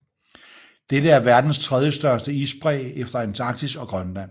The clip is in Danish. Dette er verdens tredje største isbræ efter Antarktis og Grønland